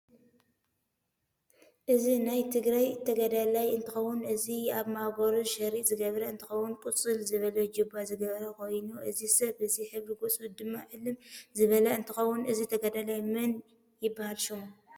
እዚ ናይ ትግራይ ተገዳላይ እንትከውን እዚ ኣብ ማእገሩ ሽርጥ ዝገበረ እንትከውን ቁፅል ዝበለ ጅባ ዝገበረ ኮይኑ እዚ ሰብ እዚ ሕብሪ ገፁ ድማ ዕልም ዝበለ ንትከውን እዚ ተጋዳላይ መን ይብሃል ሽሙ?